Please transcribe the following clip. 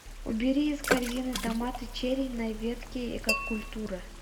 убери из корзины томаты черри на ветке экокультура